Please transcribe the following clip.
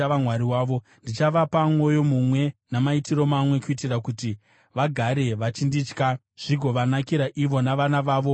Ndichavapa mwoyo mumwe namaitiro mamwe, kuitira kuti vagare vachinditya zvigovanakira ivo navana vavo vanovatevera.